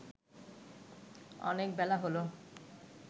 অনেক বেলা হলো